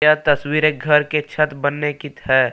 यह तस्वीर एक घर के छत बनने की है।